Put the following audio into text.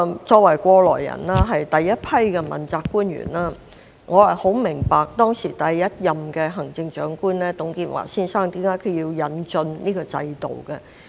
作為過來人，我是第一批問責官員，我很明白第一任行政長官董建華先生當時為何要引進這個制度。